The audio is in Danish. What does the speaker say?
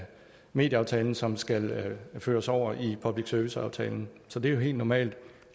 medieaftalen som skal føres over i public service aftalen så det er helt normalt